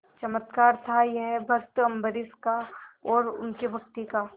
चमत्कार था यह भक्त अम्बरीश का और उनकी भक्ति का